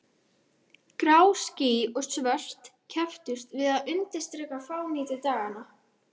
Grá ský og svört kepptust við að undirstrika fánýti daganna.